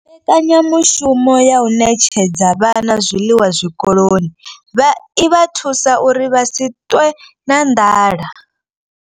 Mbekanyamushumo ya u ṋetshedza vhana zwiḽiwa zwikoloni i vha thusa uri vha si ṱwe na nḓala